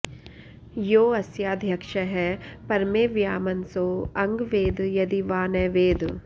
यो अ॒स्याध्य॑क्षः पर॒मे व्यो॑म॒न्सो अ॒ङ्ग वे॑द॒ यदि॑ वा॒ न वेद॑